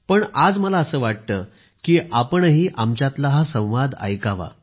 पण आज मला असे वाटते की आपणही आमच्यातला हा संवाद ऐकावा